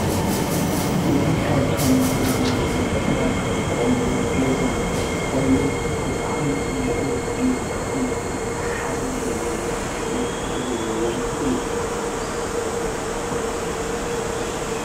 እዙ ኸብቶም መንበሪ ደቂ ሰባት ዝጥቆምሉ ገዛ ኾይኑ ብጥዓሚጽቡቕን ምልኩዕን ዝኾነ ሰሓባይ ዘለዉን ውቃበ ዘለውን እዩ::